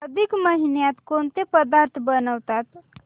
अधिक महिन्यात कोणते पदार्थ बनवतात